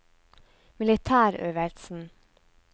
militærøvelsen